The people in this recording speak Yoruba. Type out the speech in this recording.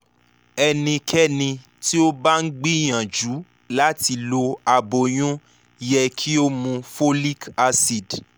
ẹnikẹ́ni tí ó bá ń gbìyànjú láti lo aboyún yẹ kí ó mu folic acid